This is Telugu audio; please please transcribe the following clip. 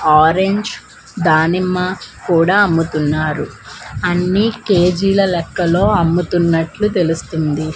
ఆరెంజ్ దానిమ్మ కూడా అమ్ముతున్నారు అన్నీ కేజీల లెక్కలో అమ్ముతున్నట్లు తెలుస్తుంది.